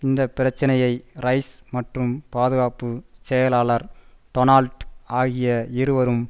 இந்த பிரச்சனையை ரைஸ் மற்றும் பாதுகாப்பு செயலாளர் டொனால்ட் ஆகிய இருவரும்